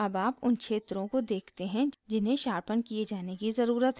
अब आप उन क्षेत्रों को देखते हैं जिन्हें शार्पन किये जाने की ज़रुरत है